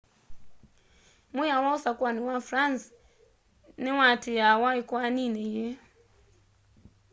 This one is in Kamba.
mwiao wa usakuani wa france niwatiiawa ikoanini yii